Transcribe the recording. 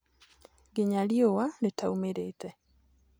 nginya riũwa ritaumĩrĩte.